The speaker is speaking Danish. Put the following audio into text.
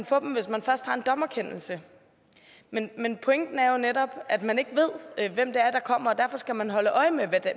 få dem hvis man først har en dommerkendelse men men pointen er jo netop at man ikke ved hvem der kommer og derfor skal man holde øje med